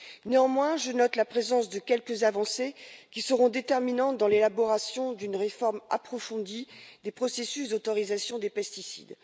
Néanmoins, je note la présence de quelques avancées qui seront déterminantes dans l'élaboration d'une réforme approfondie des processus d'autorisation des pesticides.